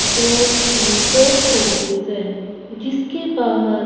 जो की post office है जिसके बाहर--